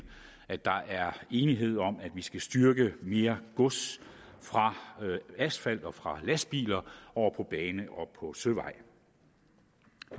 at der er enighed om at vi skal styrke det at mere gods fra asfalt og fra lastbiler over på bane og søvej